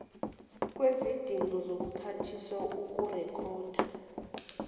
kwizidingo zobuphathiswa ukurekhoda